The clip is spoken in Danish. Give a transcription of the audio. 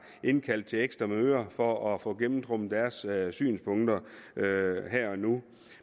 indkaldt til ekstra møder for at få gennemtrumfet deres synspunkter her og nu